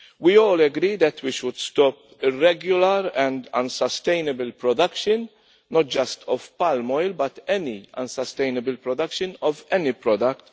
We all agree that we should stop irregular and unsustainable production, not just of palm oil, but any unsustainable production of any product.